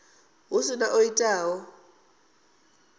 hu si na o itaho